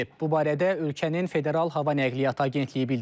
Bu barədə ölkənin Federal Hava Nəqliyyat Agentliyi bildirib.